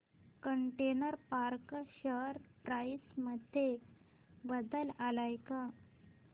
container corp share price मध्ये बदल आलाय का